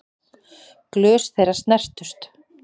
Glös þeirra snertust.